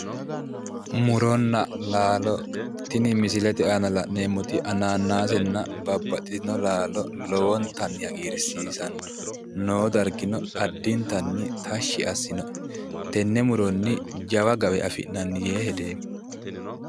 Muronna laalo tini misilete aana la'neemmoti hanaanaasenna babbaxitino laalo lowontanni hagirsiisanno noo dargino addintanni tashshi assinoe tenne muronni jawa gawe afi'nanni yee hedeemmo.